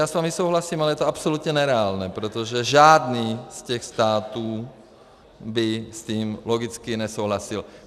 Já s vámi souhlasím, ale je to absolutně nereálné, protože žádný z těch států by s tím logicky nesouhlasil.